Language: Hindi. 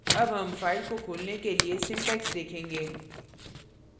अब हम फाइल को खोलने के लिए syntax देखेंगे